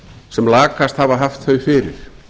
sem lakast hafa haft þau fyrir